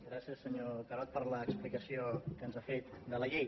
gràcies senyor carod per l’explicació que ens ha fet de la llei